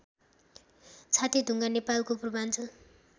छातेढुङ्गा नेपालको पूर्वाञ्चल